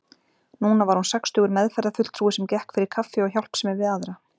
Núna var hún sextugur meðferðarfulltrúi sem gekk fyrir kaffi og hjálpsemi við aðra.